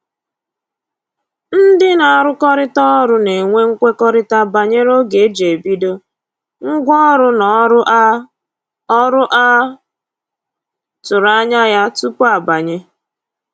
Ndị na-arụkọrịta ọrụ na-enwe mkwekọrịta banyere oge e ji ebido, ngwa ọrụ na ọrụ a ọrụ a tụrụ anya ya tupu a banye